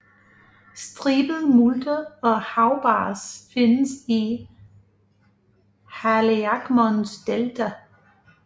Stribet multe og havbars findes i Haliakmons delta